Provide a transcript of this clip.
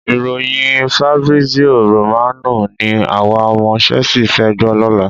Ìròyìn Fabrizio Romano ni àwa ọmọ Chelsea fẹ́ gbọ́ lọ́la.